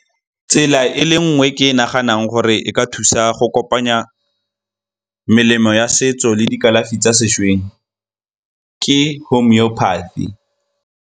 Tsela e le nngwe e ke naganang gore e ka thusa go kopanya melemo ya setso le dikalafi tsa sešweng ke .